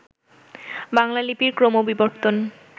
বাংলা লিপির ক্রমবিবর্তন